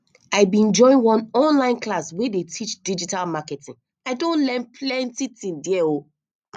i bin join one online class wey dey teach digital marketing i don learn plenty tin there o